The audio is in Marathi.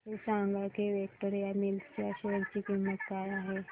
हे सांगा की विक्टोरिया मिल्स च्या शेअर ची किंमत काय आहे